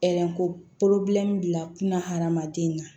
bila kunna hadamaden na